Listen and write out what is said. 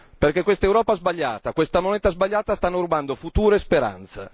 Perché quest'Europa sbagliata e questa moneta sbagliata stanno rubando futuro e speranza.